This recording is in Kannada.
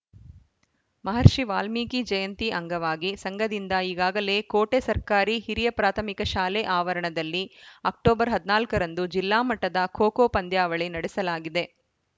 ಮಹರ್ಷಿ ವಾಲ್ಮೀಕಿ ಜಯಂತಿ ಅಂಗವಾಗಿ ಸಂಘದಿಂದ ಈಗಾಗಲೇ ಕೋಟೆ ಸರ್ಕಾರಿ ಹಿರಿಯ ಪ್ರಾಥಮಿಕ ಶಾಲೆ ಆವರಣದಲ್ಲಿ ಅಕ್ಟೋಬರ್ ಹದಿನಾಲ್ಕ ರಂದು ಜಿಲ್ಲಾಮಟ್ಟದ ಖೋಖೋ ಪಂದ್ಯಾವಳಿ ನಡೆಸಲಾಗಿದೆ